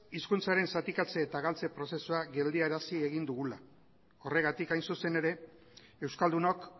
hizkuntzaren zatikatze eta galtze prozesua geldiarazi egin dugula horregatik hain zuzen ere euskaldunok